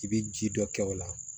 I bɛ ji dɔ kɛ o la